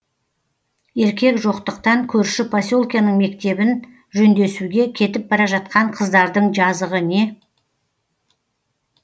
еркек жоқтықтан көрші поселкенің мектебін жөндесуге кетіп бара жатқан қыздардың жазығы не